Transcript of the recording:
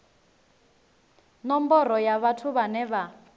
nomboro ya vhathu vhane vha